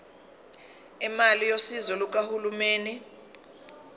imali yosizo lukahulumeni